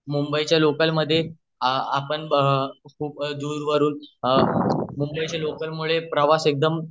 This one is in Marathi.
मुंबई च्या लोकल मध्ये आपण खूप दूरवरून मुंबई च्या लोकल मधे प्रवास एकदम